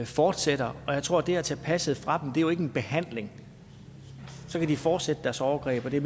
fortsætter og jeg tror det at tage passet fra dem er en behandling så kan de fortsætte deres overgreb og det